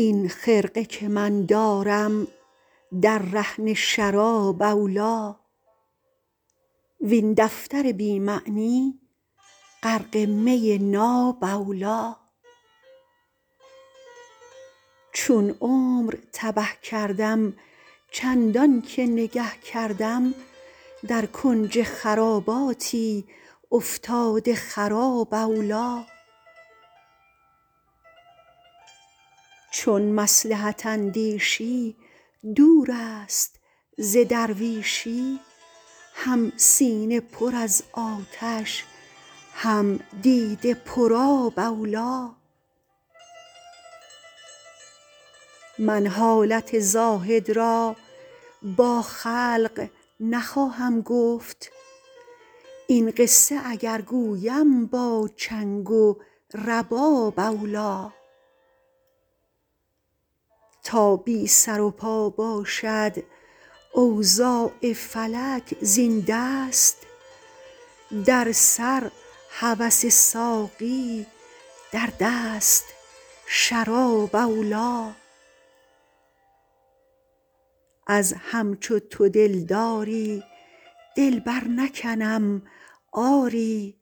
این خرقه که من دارم در رهن شراب اولی وین دفتر بی معنی غرق می ناب اولی چون عمر تبه کردم چندان که نگه کردم در کنج خراباتی افتاده خراب اولی چون مصلحت اندیشی دور است ز درویشی هم سینه پر از آتش هم دیده پرآب اولی من حالت زاهد را با خلق نخواهم گفت این قصه اگر گویم با چنگ و رباب اولی تا بی سر و پا باشد اوضاع فلک زین دست در سر هوس ساقی در دست شراب اولی از همچو تو دلداری دل برنکنم آری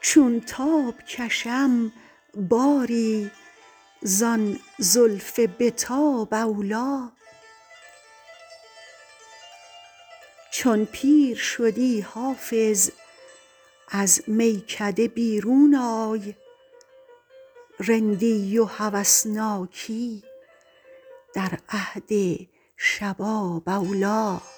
چون تاب کشم باری زان زلف به تاب اولی چون پیر شدی حافظ از میکده بیرون آی رندی و هوسناکی در عهد شباب اولی